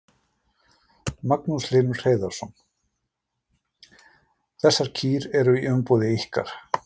Magnús Hlynur Hreiðarsson: Þessar kýr eru í umboði ykkar?